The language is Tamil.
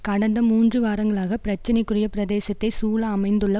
கடந்த மூன்று வாரங்களாக பிரச்சினைக்குரிய பிரதேசத்தை சூழ அமைந்துள்ள